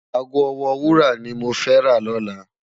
Aágó òwò wúrá ni mó fè rá lòlá